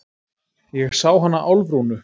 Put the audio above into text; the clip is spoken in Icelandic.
Ég sá hana Álfrúnu.